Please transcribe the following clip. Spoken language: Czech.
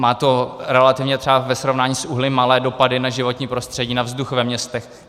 Má to relativně třeba ve srovnání s uhlím malé dopady na životní prostředí, na vzduch ve městech.